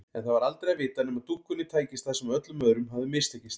En það var aldrei að vita nema dúkkunni tækist það sem öllum öðrum hafði mistekist.